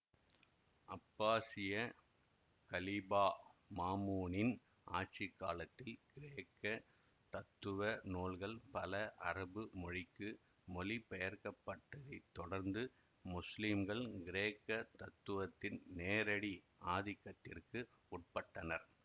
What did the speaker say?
அப்பாசிய கலீபா மாமூனின் ஆட்சி காலத்தில் கிரேக்க தத்துவ நூல்கள் பல அரபு மொழிக்கு மொழிபெயர்க்கப்பட்டதைத் தொடர்ந்து முஸ்லிம்கள் கிரேக்க தத்துவத்தின் நேரடி ஆதிக்கத்திற்கு உட்பட்டனர்